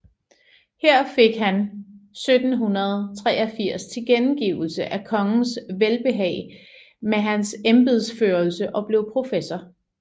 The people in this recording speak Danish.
Her fik han 1783 tilkendegivelse af kongens velbehag med hans embedsførelse og blev professor